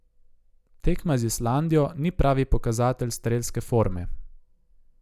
Tekma z Islandijo ni pravi pokazatelj strelske forme.